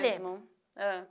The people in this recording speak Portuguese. Lembro. Ãh